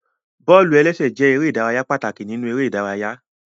Bọ́ọ̀lù-ẹlẹ́sẹ̀ jẹ erè ìdárayá pàtàkì nínú eré ìdárayá